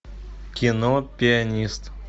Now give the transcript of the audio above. кино пианист